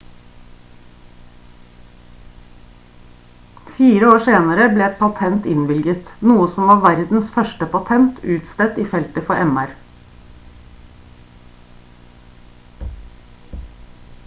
fire år senere ble et patent innvilget noe som var verdens første patent utstedt i feltet for mr